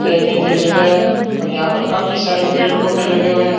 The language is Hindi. खेलने की जगह है और यहां पर काफी सारे पेड़ पौधे लगे हुए है।